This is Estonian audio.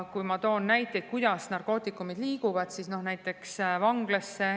Ma toon näite, kuidas narkootikumid liiguvad näiteks vanglasse.